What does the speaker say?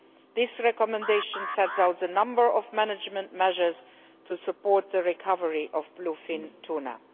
The recommendation sets out a number of management measures to support the recovery of bluefin tuna.